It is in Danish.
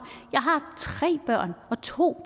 to